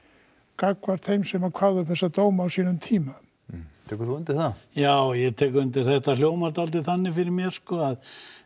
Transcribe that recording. gagnvart þeim sem kváðu upp þessa dóma á sínum tíma tekur þú undir það já ég tek undir það þetta hljómar dálítið þannig fyrir mér að